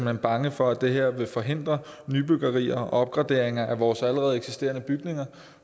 er bange for at det her vil forhindre nybyggerier og opgraderinger af vores allerede eksisterende bygninger